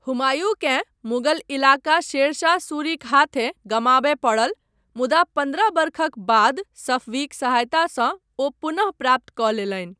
हुमायूँकेँ मुग़ल इलाका शेरशाह सूरीक हाथेँ गमाबय पड़ल मुदा पन्द्रह वर्षक बाद सफवीक सहायतासँ ओ पुनः प्राप्त कऽ लेलनि।